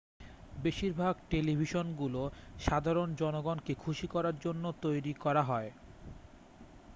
বেশিরভাগ টেলিভিশনগুলো সাধারণ জনগণকে খুশি করার জন্য তৈরি করা হয়